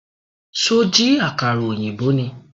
Ṣó jí àkàrà ọ̀yìnbó ni?